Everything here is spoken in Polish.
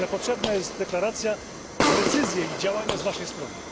Jednak potrzebna jest deklaracja, decyzje i działania z waszej strony.